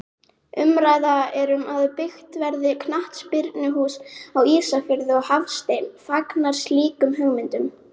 Umræða er um að byggt verði knattspyrnuhús á Ísafirði og Hafsteinn fagnar slíkum hugmyndum.